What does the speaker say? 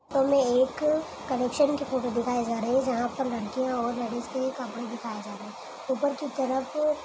हमें एक कलेक्शन की फोटो दिखाई जा रही है जहाँ पर लड़कियाँ और लड़के के कपड़े दिखाए जा रहे है ऊपर की तरफ --